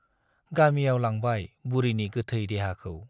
गामियाव लांबाय बुरिनि गोथै देहाखौ।